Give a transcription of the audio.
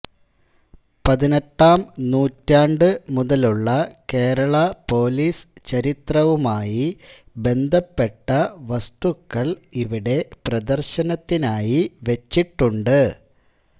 പതിനെട്ടാം നൂറ്റാണ്ട് മുതലുള്ള കേരളാ പോലീസ് ചരിത്രവുമായി ബന്ധപ്പെട്ട വസ്തുക്കൾ ഇവിടെ പ്രദർശനത്തിനായി വച്ചിട്ടുണ്ട്